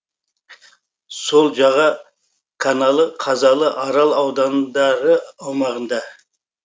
сол жаға каналы қазалы арал аудандары аумағында